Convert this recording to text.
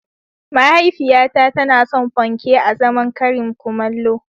Mahaifiyata tana son panke azaman karin kumallo.